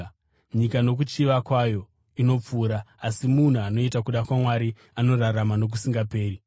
Nyika nokuchiva kwayo inopfuura, asi munhu anoita kuda kwaMwari anorarama nokusingaperi.